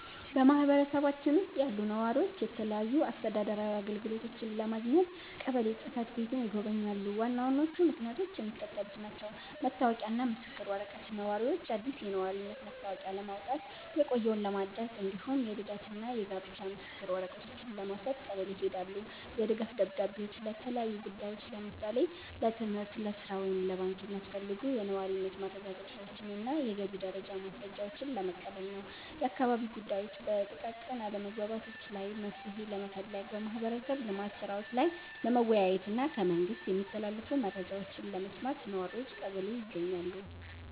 በማኅበረሰባችን ውስጥ ያሉ ነዋሪዎች የተለያዩ አስተዳደራዊ አገልግሎቶችን ለማግኘት ቀበሌ ጽሕፈት ቤትን ይጎበኛሉ። ዋና ዋናዎቹ ምክንያቶች የሚከተሉት ናቸው፦ መታወቂያና ምስክር ወረቀት፦ ነዋሪዎች አዲስ የነዋሪነት መታወቂያ ለማውጣት፣ የቆየውን ለማደስ፣ እንዲሁም የልደትና የጋብቻ ምስክር ወረቀቶችን ለመውሰድ ቀበሌ ይሄዳሉ። የድጋፍ ደብዳቤዎች፦ ለተለያዩ ጉዳዮች (ለምሳሌ ለትምህርት፣ ለሥራ ወይም ለባንክ) የሚያስፈልጉ የነዋሪነት ማረጋገጫዎችንና የገቢ ደረጃ ማስረጃዎችን ለመቀበል ነው። የአካባቢ ጉዳዮች፦ በጥቃቅን አለመግባባቶች ላይ መፍትሔ ለመፈለግ፣ በማኅበረሰብ ልማት ሥራዎች ላይ ለመወያየትና ከመንግሥት የሚተላለፉ መረጃዎችን ለመስማት ነዋሪዎች ቀበሌ ይገኛሉ።